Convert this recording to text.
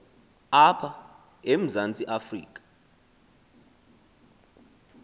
apha emzantsi afrika